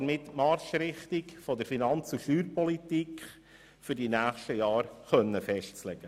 Davon ist die Marschrichtung für die Finanz- und Steuerpolitik der nächsten Jahre betroffen.